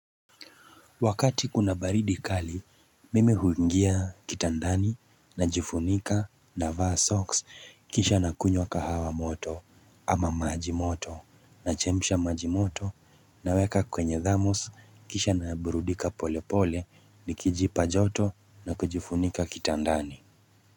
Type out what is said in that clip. Wakati kuna baridi kali mimi huingia kitandani najifunika navaa socks kisha nakunywa kahawa moto ama maji moto nachemsha maji moto naweka kwenye dhamos kisha naburudika pole pole nikijipa joto na kujifunika kitandani.